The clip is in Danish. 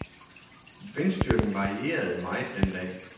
Vindstyrken varierede meget den dag.